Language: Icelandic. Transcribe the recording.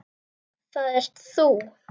Það ert þú!